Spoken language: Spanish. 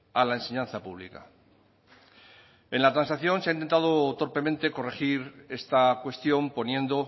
a la enseñanza pública en la transacción se ha intentado torpemente corregir esta cuestión poniendo